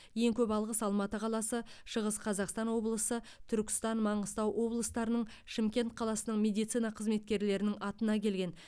ең көп алғыс алматы қаласы шығыс қазақстан облысы түркістан маңғыстау облыстарының шымкент қаласының медицина қызметкерлерінің атына келген